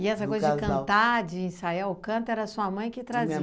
E essa coisa de cantar, de ensaiar, o canto era sua mãe que